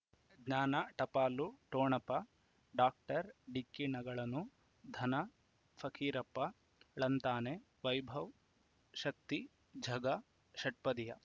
ಜ್ಞಾನ ಟಪಾಲು ಠೊಣಪ ಡಾಕ್ಟರ್ ಢಿಕ್ಕಿ ಣಗಳನು ಧನ ಫಕೀರಪ್ಪ ಳಂತಾನೆ ವೈಭವ್ ಶಕ್ತಿ ಝಗಾ ಷಟ್ಪದಿಯ